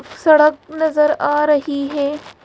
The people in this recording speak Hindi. सड़क नजर आ रही है।